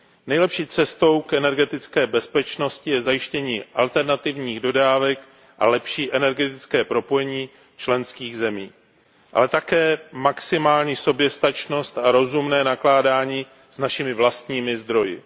Nejlepší cestou k energetické bezpečnosti je zajištění alternativních dodávek a lepší energetické propojení členských zemí, ale také maximální soběstačnost a rozumné nakládání s našimi vlastními zdroji.